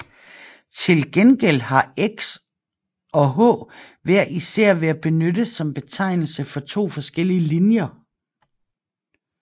Til gengæld har Ex og H hver især været benyttet som betegnelse for to forskellige linjer